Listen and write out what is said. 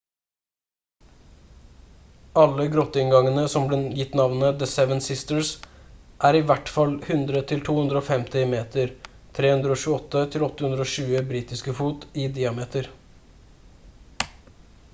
alle grotteinngangene som ble gitt navnet «the seven sisters» er i hvert fall 100–250 m 328–820 britiske fot i diameter